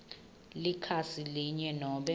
likhasi linye nobe